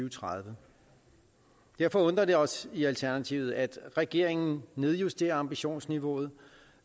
og tredive derfor undrer det os i alternativet at regeringen nedjusterer ambitionsniveauet